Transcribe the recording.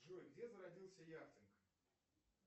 джой где зародился яхтинг